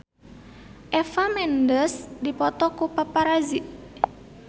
Eva Mendes dipoto ku paparazi